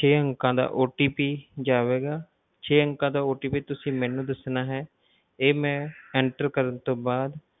ਛੇ ਅੰਕਾਂ ਦਾ OTP ਜਾਵੇਗਾ, ਛੇ ਅੰਕਾਂ ਦਾ OTP ਤੁਸੀਂ ਮੈਨੂੰ ਦੱਸਣਾ ਹੈ ਇਹ ਮੈਂ enter ਕਰਨ ਤੋਂ ਬਾਅਦ,